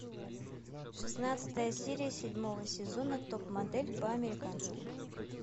шестнадцатая серия седьмого сезона топ модель по американски